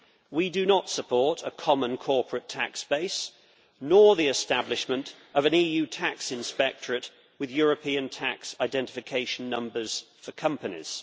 We do not support a common corporate tax base or the establishment of an EU tax inspectorate, with European tax identification numbers for companies.